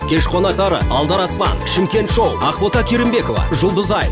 кеш қонақтары алдараспан шымкент шоу ақбота керімбекова жұлдызай